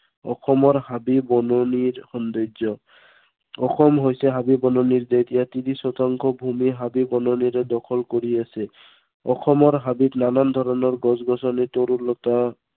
অসমৰ হাবি বননিৰ সৌন্দৰ্য। অসম হৈছে হাবি বননিৰ দেশ। ইয়াত ত্ৰিশ শতাংশ ভূমি হাবি বননিয়ে দখল কৰি আছে। অসমৰ হাবিত নানান ধৰনৰ গছ-গছনি, তৰু লতা